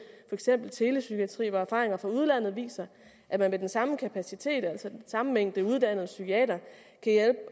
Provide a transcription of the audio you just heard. eksempel telepsykiatri hvor erfaringer fra udlandet viser at man med den samme kapacitet altså den samme mængde uddannede psykiatere